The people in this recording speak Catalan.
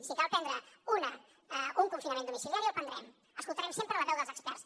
si cal prendre un confinament domiciliari el prendrem escoltarem sempre la veu dels experts